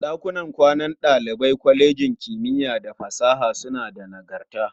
Ɗakunan kwanan ɗalibai na kwalejin kimiyya da fasaha suna da nagarta.